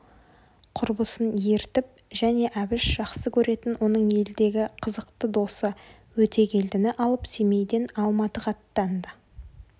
құрбысын ертіп және әбіш жақсы көретін оның елдегі қызықты досы өтегелдіні алып семейден алматыға аттанды